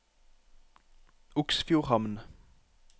Oksfjordhamn